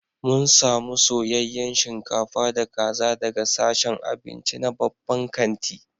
mun samu soyayyen shinkafa da kaza daga sashen abinci na babban kanti